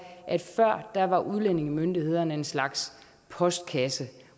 at før var udlændingemyndighederne en slags postkasse